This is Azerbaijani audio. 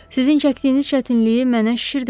Sizin çəkdiyiniz çətinliyi mənə şişirdiblər.